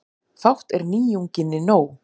Fátt er nýjunginni nóg.